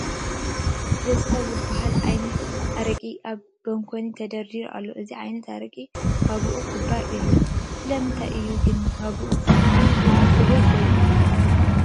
ደስታ ዝበሃል ዓይነት ኣረቂ ኣብ ባንኮኒ ተደርዲሩ ኣሎ፡፡ እዚ ዓይነት ኣረቂ ዋግኡ ክቡር እዩ፡፡ ስለምንታይ እዩ ግን ዋግኡ ክቡር ኮይኑ?